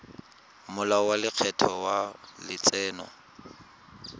molao wa lekgetho wa letseno